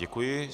Děkuji.